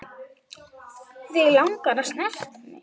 Þig langar að snerta mig.